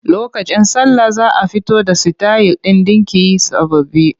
Lokacin sallah za a fito da sitayil ɗin ɗinki sababbi.